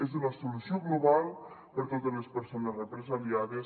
és una solució global per a totes les persones represaliades